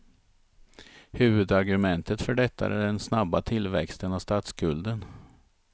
Huvudargumentet för detta är den snabba tillväxten av statsskulden.